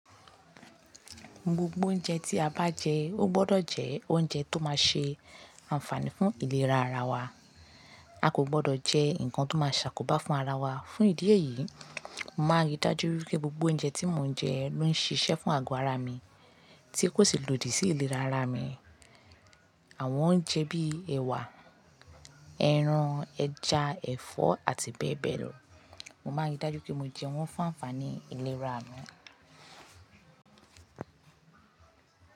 Gbogbo oúnjẹ tí a bá jẹ, ó gbọ́dọ̀ jẹ oúnjẹ tó máa ṣe ànfààní fún ìlera ara wa. A kò gbọ́dọ̀ jẹ nǹkan tó máa ṣàkóbá fún ara wa. Fún ìdí èyí, mo máa rí dájú wípé gbogbo oúnjẹ tí mo ń jẹ ló ń ṣiṣẹ́ fún àgọ́ ara mi tí kò sì lòdì sí ìlera ara mi. Àwọn oúnjẹ bíi ẹ̀wà, ẹran, ẹja, ẹ̀fọ́ àti bẹ́ẹ̀ bẹ́ẹ̀ lọ. Mo máa rí dájú pé mo jẹ wọ́n fún ànfààní ìlera mi.